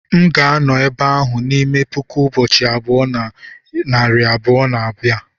m ga-anọ n'ebe ahụ n'ime puku ụbọchị abụọ na narị abụọ na abia